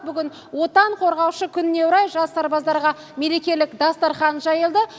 бүгін отан қорғаушы күніне орай жас сарбаздарға мерекелік дастархан жайылды